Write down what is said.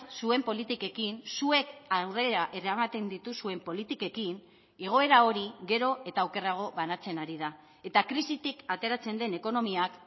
zuen politikekin zuek aurrera eramaten dituzuen politikekin igoera hori gero eta okerrago banatzen ari da eta krisitik ateratzen den ekonomiak